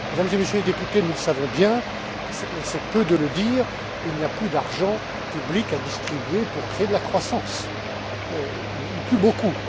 Mesdames et Messieurs les députés, nous le savons bien, et c'est peu de le dire, il n'y a plus d'argent public à distribuer pour créer de la croissance, ou plus beaucoup.